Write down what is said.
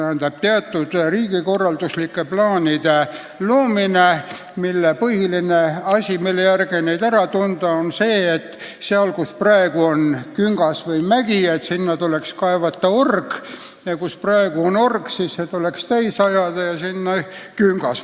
Selliseid riigikorralduslikke plaane saab ära tunda selle järgi, et sinna, kus on küngas või mägi, tuleks kaevata org ning org tuleks täis ajada ja rajada selle asemele küngas.